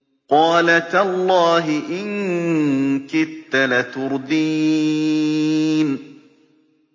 قَالَ تَاللَّهِ إِن كِدتَّ لَتُرْدِينِ